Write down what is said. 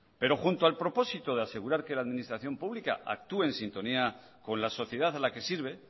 pero junto al propósito de asegurar que la administración pública actúe en sintonía con la sociedad a la que sirve